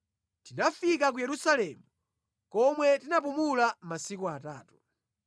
Tinafika ku Yerusalemu, komwe tinapumula masiku atatu.